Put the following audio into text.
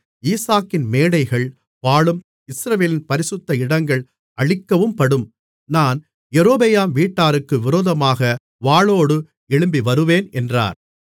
ஈசாக்கின் மேடைகள் பாழும் இஸ்ரவேலின் பரிசுத்த இடங்கள் அழிக்கவும்படும் நான் யெரொபெயாம் வீட்டாருக்கு விரோதமாகப் வாளோடு எழும்பிவருவேன் என்றார்